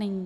Není.